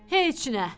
Heç nə.